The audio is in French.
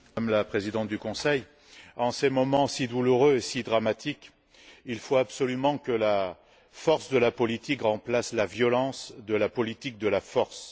Monsieur le Président, Madame la Présidente du Conseil, en ces moments si douloureux et si dramatiques, il faut absolument que la force de la politique remplace la violence de la politique de la force.